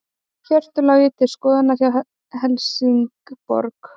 Hjörtur Logi til skoðunar hjá Helsingborg